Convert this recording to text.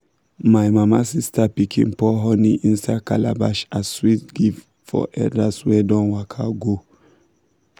my mama sister pikin pour honey inside calabash as sweet gift for elders wey don waka go.